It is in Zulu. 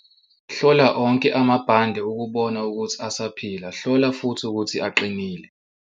Hlola onke amabhande ukubona ukuthi asaphila, hlola futhi ukuthi aqinile.